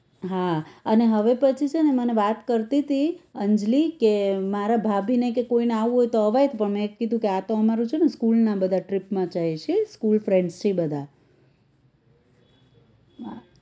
હા અને હવે પછી છે ને મને વાત કરતીતી અંજલિ કે મારા ભાભીને કે કોઈને આવું હોય તો અવાય પણ મેં તો કીધું કે આ તો અમારું છે ને school ના બધા trip માં જાય છી school friends છી બધા હા